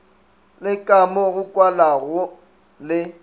le kamo go kwalago le